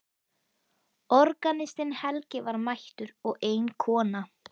Organistinn Helgi var mættur og ein kona.